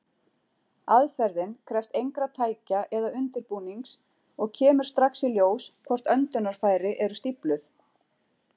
Aðferðin krefst engra tækja eða undirbúnings, og kemur strax í ljós hvort öndunarfæri eru stífluð.